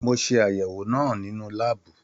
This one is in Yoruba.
Mo ṣe àyẹwò náà nínú láàbù.